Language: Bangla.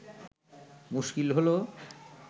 মুশকিল হল